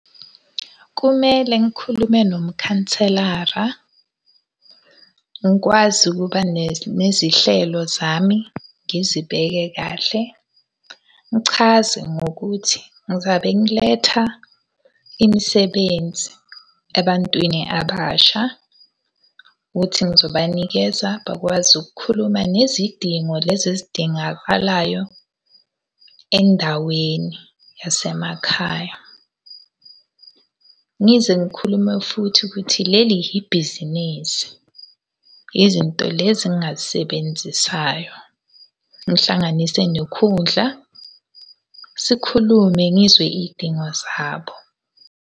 Kumele ngikhulume nomkhanselara. Ngikwazi ukuba nezihlelo zami, ngizibeke kahle. Ngichaze ngokuthi ngizabe ngiletha imisebenzi ebantwini abasha. Ukuthi ngizobanikeza bakwazi ukukhuluma nezidingo lezi ezidingakalayo endaweni yasemakhaya. Ngize ngikhulume futhi ukuthi leli yibhizinisi. Izinto lezi engingazisebenzisayo, ngihlanganise nokhudla, sikhulume ngizwe iy'dingo zabo.